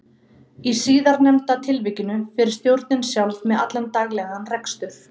Í síðarnefnda tilvikinu fer stjórnin sjálf með allan daglegan rekstur.